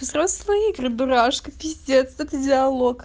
взрослые игры дурашка пиздец это диалог